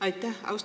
Aitäh!